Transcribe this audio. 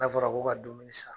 N'a fɔra ko ka dumuni san